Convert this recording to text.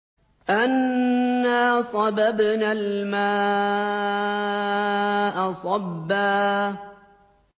أَنَّا صَبَبْنَا الْمَاءَ صَبًّا